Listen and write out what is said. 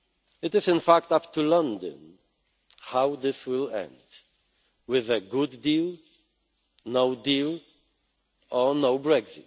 It is in fact up to London how this will end with a good deal, no deal or no